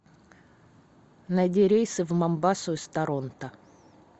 найди рейсы в момбасу из торонто